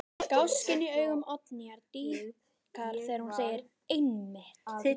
Gáskinn í augum Oddnýjar dýpkar þegar hún segir: Einmitt.